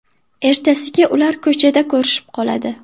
Ertasiga ular ko‘chada ko‘rishib qoladi.